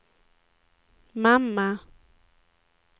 mamma